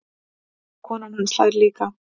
Konan hans hlær líka.